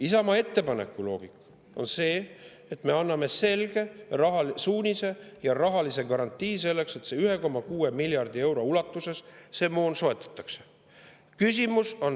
Isamaa ettepaneku loogika on see, et me anname selge suunise ja rahalise garantii selleks, et 1,6 miljardi euro ulatuses see moon soetataks.